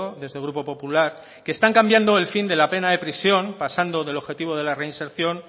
desde el grupo popular que están cambiando el fin de la pena de prisión pasando del objetivo de la reinserción